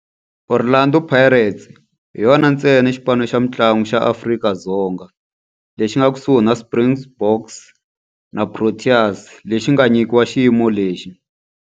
Orlando Pirates hi yona ntsena xipano xa mintlangu xa Afrika-Dzonga lexi nga ekusuhi na Springboks na Proteas lexi nga nyikiwa xiyimo lexi.